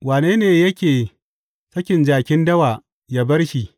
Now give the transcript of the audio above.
Wane ne yake sakin jakin dawa yă bar shi?